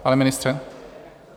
Pane ministře?